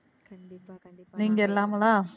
நீங்க இல்லாமலா?